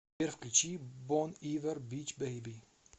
сбер включи бон ивер бич бейби